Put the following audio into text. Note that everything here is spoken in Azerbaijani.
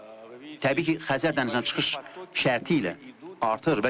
Təbii ki, Xəzər dənizinə çıxış şərtilə artır.